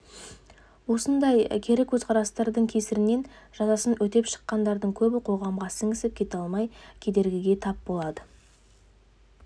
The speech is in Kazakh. осындай кері көзқарастың кесірінен жазасын өтеп шыққандардың көбі қоғамға сіңісіп кете алмай кедергіге тап болады